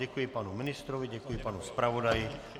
Děkuji panu ministrovi, děkuji panu zpravodaji.